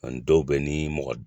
Ani dɔw bɛ ni mɔgɔ